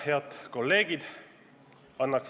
Head kolleegid!